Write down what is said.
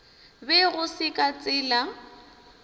be go se ka tsela